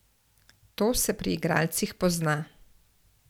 To se pri igralcih pozna.